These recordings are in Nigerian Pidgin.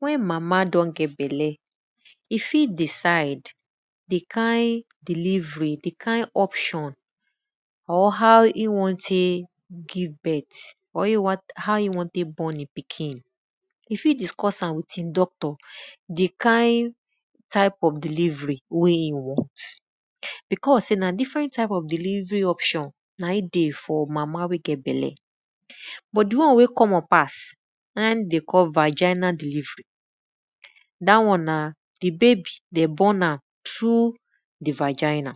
Wen mama don get bala, e fit decide di kind delivery, di kind option on howe won tek born e pikin. E fit discuss am wit e doctor di kind type of delivery wey e wan because sey na different type of delivery option na e dey for mama wey get bella. But di one wey common pass, na in de dey call viginal delivery. Dat one n di babay dem born am through di viginal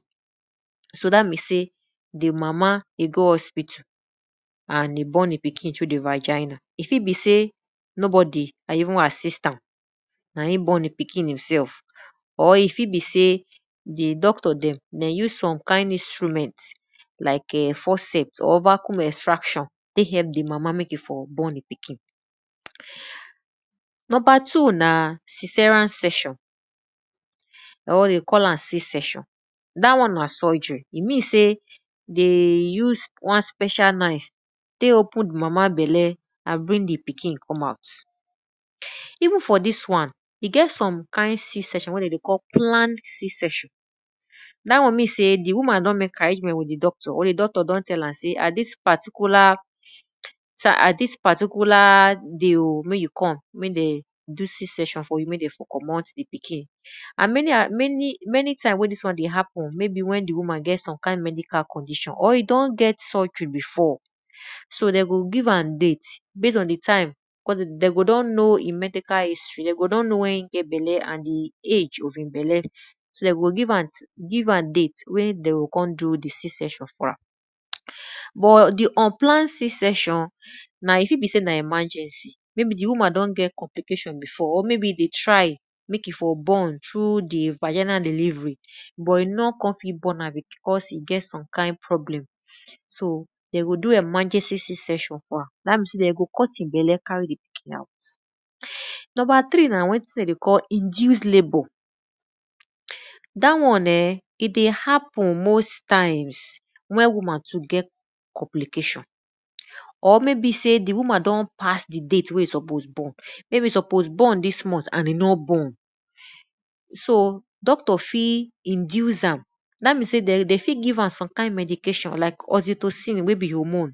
so at means sey di mama dey go hospital and e born e pkin through di viginal e fit be sey nobody even assist am, na e born e pikin e sef or e fit be sey di doctor de use some kind instrument like[um]forsept or vaccume extraction tek help di mama mek e for born di pikin. Number two na cesarean section dat wan de call am c section, da won na surgery. E mean sey de use wan special knife tek open di mama bela and bring di pikin ome out even for dis wan, e get some kind c section wey de dey call plan c section, dat won mean sey di woman dn mek arrangement with di doctor or di doctor don tell am sey at dis particular day o mek you come mek den do c section for you, mey den for commot di pikin. And many time wen dis wan dey happen maybe wen di won get some kind medical codition or e don get surgery before so de go give am date bas on di time because de go don know e medical history, de go don know wen e get bela and e age of e bela so de go give am date wey de go kon do di c section for ram. But di unplanned c section e fit be sey na emergency r di woman don get complication before or maybe e dey try mek e for born through di virginal delivery so but e nor kon fit born am cause e get some kind problem so de go do emergency c section for am dat means de go cut e bella carry di pikin out. Number three na wetin de dey call induced labour. Dat one[um], e dey happen most times, wen woman too get complication or maybe sey di woman don pass di date wey e suppose born, maybe e suppose born dis month and e no born. S doctor fit induce am dat means sey de fit give am some medication like oxytosine wey be hormone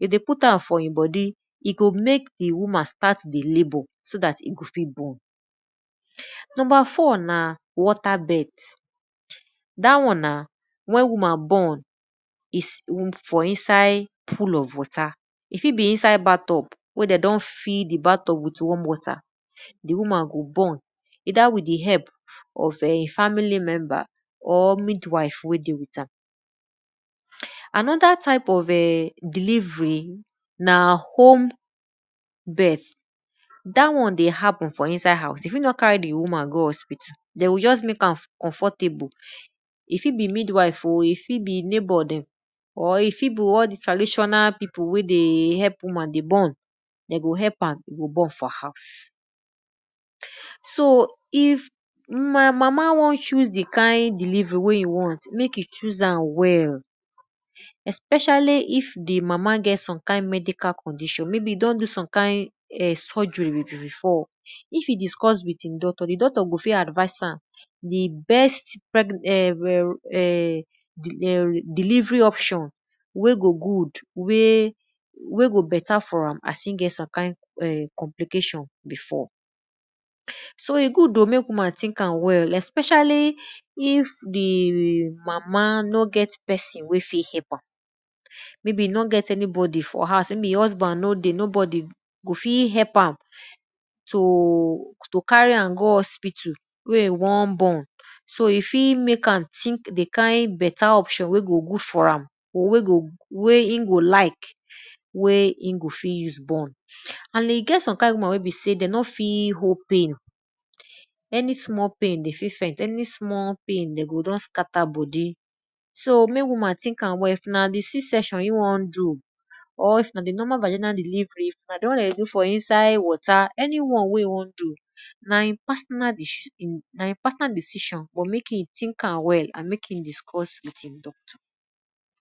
wen de put am for e bodi, e go mek di woman start dey labour so dat e go fit born. Numbr four na water bed. Dat one na wen woman born put for inside pool of water, e fit be inside bath tumb wen de don fill amd with warm water, di woman go born ether with di help of family member. Anoda type of delivery na home birth. Dat won ey happen for inside h ouse e fit no carry di woman go hospital, de go just mek am dey comfortable, e fit be mid wife o, e fit be neighbor dem, or e fit be all dis traditional pipu wey dey help woman dey born, de go help am born for house. So if una mama won choos di kind delivery wey e want, mek e choos am well especially wen di mama don get some medical condition maybe don do ome kind surgery before. If e discuss with e doctor, di doctor go fit advice am di best delivery option wey go good, wey go beta for ram as e get some kind complication before. So e good o mek woman think am well especially if di mama no get pesin wey fit help am, e be nor get anybody for houe, e husband no dey to fit help am to carry am go hospital wey e won born so e fit mek am to think di kind option wey go good for am wen e go like wey e go fit use born. An e get some kind woman wey be sey de no fit hold pain, any small pain, d fit faint any small pan, de go just scatter bodi, so mek woman think am well if na di c section wey e won do or if na di normal virginal delivery, or if na di won wey de dey do for inside water, any won wey e won do na e personal decision but mek e think am well and mek e dicuss with e doctor.